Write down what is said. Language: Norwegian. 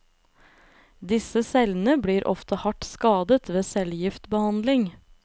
Disse cellene blir ofte hardt skadet ved cellegiftbehandling.